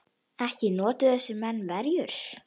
Ekki notuðu þessir menn verjur.